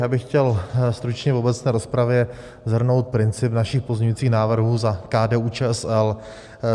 Já bych chtěl stručně v obecné rozpravě shrnout princip našich pozměňujících návrhů za KDU-ČSL.